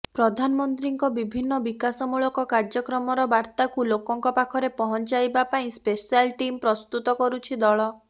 ପ୍ରଧାନମନ୍ତ୍ରୀଙ୍କ ବିଭିନ୍ନ ବିକାଶମୂଳକ କାର୍ଯ୍ୟକ୍ରମର ବାର୍ତ୍ତାକୁ ଲୋକଙ୍କ ପାଖରେ ପହଞ୍ଚାଇବା ପାଇଁ ସ୍ପେଶାଲ ଟିମ୍ ପ୍ରସ୍ତୁତ କରୁଛି ଦଳ